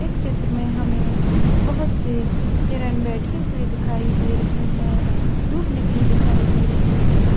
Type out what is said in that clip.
इस चित्र में हमें बहुत से हिरण बैठे हुए दिखाई दे रहे हैं धूप निकली दिखाई दे रही है।